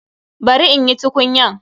Bari in yi tukunyan.